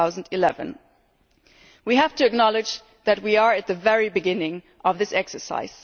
2011. We have to acknowledge that we are at the very beginning of this exercise.